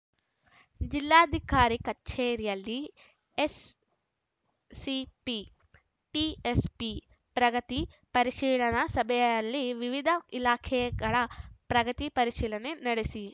ಜಿಲ್ಲಾಧಿಕಾರಿ ಕಚೇರಿಯಲ್ಲಿ SCP TSP ಪ್ರಗತಿ ಪರಿಶೀಲನಾ ಸಭೆಯಲ್ಲಿ ವಿವಿಧ ಇಲಾಖೆಗಳ ಪ್ರಗತಿ ಪರಿಶೀಲನೆ ನಡೆಸಿ